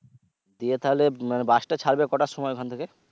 দিয়ে তাহলে মানে bus টা ছাড়বে কোটার সময়?